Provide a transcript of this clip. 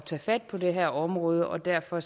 tage fat på det her område og derfor